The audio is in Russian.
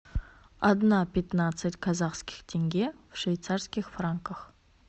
одна пятнадцать казахских тенге в швейцарских франках